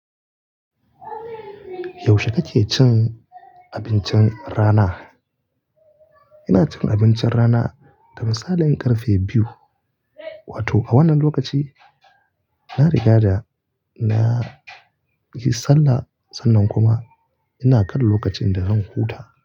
Yaushe kake cin abincin rana? Ina cin abincin rana da misalin karfe biyu. Wato a wannan lokaci na riga da na yi sallah sannan kuma ina kan lokacin da zan huta.